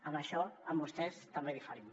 en això amb vostès també diferent